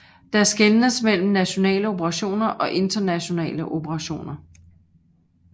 Der skelnes mellem nationale operationer og internationale operationer